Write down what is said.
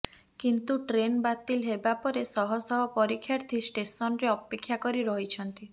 କିନ୍ତୁ ଟ୍ରେନ୍ ବାତିଲ ହେବା ପରେ ଶହ ଶହ ପରୀକ୍ଷାର୍ଥୀ ଷ୍ଟେସନରେ ଅପେକ୍ଷା କରି ରହିଛନ୍ତି